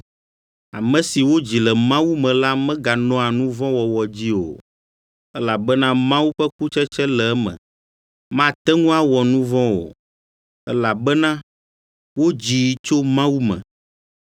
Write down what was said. Ame si wodzi le Mawu me la meganɔa nu vɔ̃ wɔwɔ dzi o, elabena Mawu ƒe kutsetse le eme. Mate ŋu awɔ nu vɔ̃ o, elabena wodzii tso Mawu me.